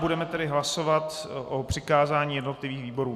Budeme tedy hlasovat o přikázání jednotlivým výborům.